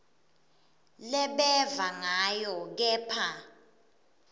lebeva ngayo kepha